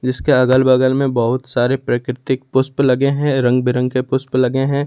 जिसके अगल बगल में बहुत सारे प्राकृतिक पुष्प लगे हैं रंग बिरंगे पुष्प लगे हैं।